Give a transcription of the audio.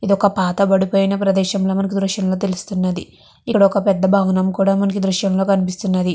ఇదొక పాతబడిపోయన ప్రదేశంల మనకు దృశ్యంలో తెలుస్తున్నది ఇక్కడొక పెద్ద భవనము కూడా మనకి దృశ్యంలో కనిపిస్తున్నది.